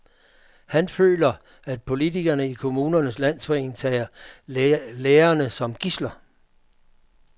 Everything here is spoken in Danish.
Han føler, at politikerne i Kommunernes Landsforening tager lærerne som gidsler.